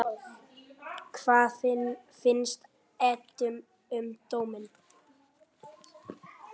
Hvað fannst Eddu um dóminn?